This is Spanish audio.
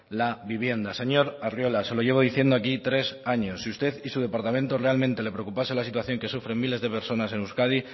la vivienda señor arriola se lo llevo diciendo aquí tres años si a usted y su departamento realmente le preocupase la situación que sufren miles de personas en euskadi